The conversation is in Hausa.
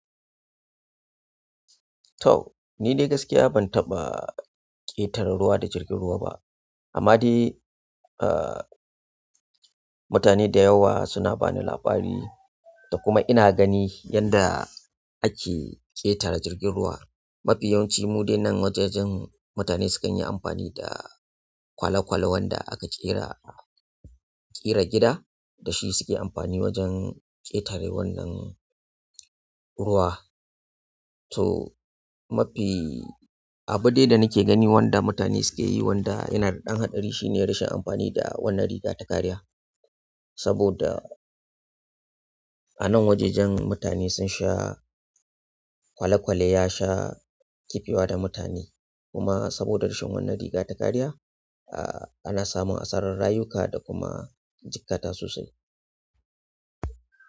To, ni dai gaskiya ban taɓa ƙetare ruwa da jirgin ruwa ba. Amma dai, eh, mutane da yawa suna bani labari da kuma ina gani yanda ake ƙetare jirgin ruwa. Mafi yawanci mude nan wajajen mutane sukan yi amfani da kwale-kwale wanda aka ƙera, ƙera gida da shi suke amfani wajen ƙetare wannan ruwa. To, mafi abu dai da nake gani wanda mutane suke yi wanda yana da ɗan haɗari shine rashin amfani da wannan riga ta kariya. Saboda anan wajajen mutane sun sha kwale-kwale ya sha ƙifewa da mutane. Kuma saboda rashin wannan riga ta kariya ana samun asarar rayuka da kuma jiƙata sosai.